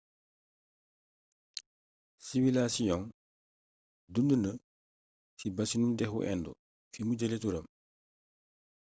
siwilasiyong dund na ci basinu dexu indo fi mu jële turam